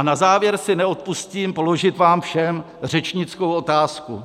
A na závěr si neodpustím položit vám všem řečnickou otázku,